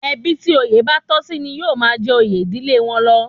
Ẹbí tí òye bá tọ́ sí ní yóó máa jẹ oyè ìdílé wọn lọ